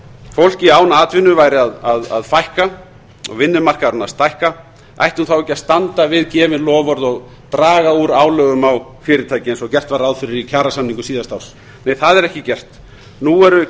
fólki án atvinnu væri að fækka og vinnumarkaðurinn stækka ætti hún þá ekki að standa við gefin loforð og draga úr álögum á fyrirtæki eins og gert var ráð fyrir í kjarasamningum síðasta árs nei það er ekki gert nú eru